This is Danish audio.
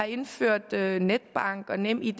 indførte netbank og nemid